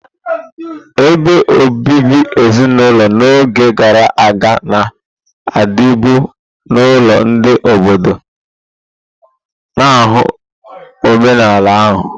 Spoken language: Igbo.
Ebe obibi ezinulo n'oge gara aga na-adịbu n'ụlọ ndị obodo, na-ahụ omenala ha.